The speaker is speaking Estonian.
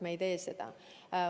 Me ei tee seda.